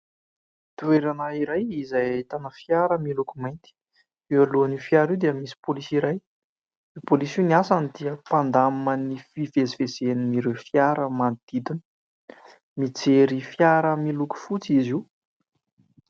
Toerana iray izay ahitana fiara miloko mainty, eo alohan'io fiara io dia misy polisy iray, io polisy io ny asany dia mpandamina ny fivezivezen'ireo fiara manodidina. Mijery fiara miloko fotsy izy io.